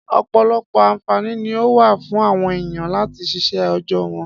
Ọ̀pọ̀lọpọ̀ àǹfààní ni ó wà fún àwọn èèyàn láti síṣẹ́ òòjọ́ wọn.